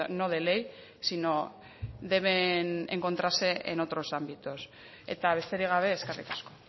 no de ley sino deben encontrarse en otros ámbitos eta besterik gabe eskerrik asko